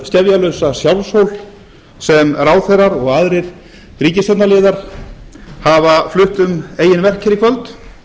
skefjalausa sjálfshól sem ráðherrar og aðrir ríkisstjórnarliðar hafa flutt um eigin verk í kvöld